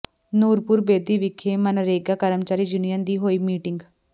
ਨੂਰਪੁਰ ਬੇਦੀ ਵਿਖੇ ਮਨਰੇਗਾ ਕਰਮਚਾਰੀ ਯੂਨੀਅਨ ਦੀ ਹੋਈ ਮੀਟਿੰਗ